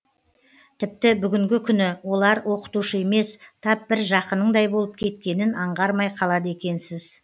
тіпті бүгінгі күні олар оқытушы емес тап бір жақыныңдай болып кеткенін аңғармай қалады екенсіз